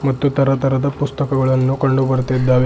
ಮತ್ತು ತರ ತರದ ಪುಸ್ತಕಗಳನ್ನು ಕಂಡು ಬರುತ್ತಿದ್ದಾವೆ.